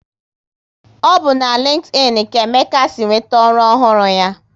Ọ bụ na LinkedIn ka Emeka si nweta ọrụ ọhụrụ ya